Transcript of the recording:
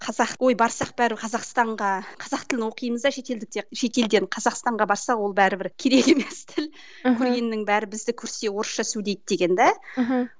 қазақ ой барсақ бәрі қазақстанға қазақ тілін оқимыз да шетелдіктер шетелден қазақстанға барсақ ол бәрібір керек емес тіл бәрі бізді көрсе орысша сөйлейді деген де мхм